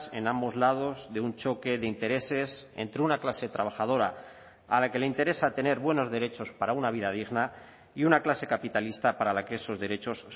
en ambos lados de un choque de intereses entre una clase trabajadora a la que le interesa tener buenos derechos para una vida digna y una clase capitalista para la que esos derechos